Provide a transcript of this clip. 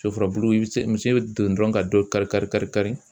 Soforo misi bɛ don dɔrɔn ka dɔ kari kari kari kari.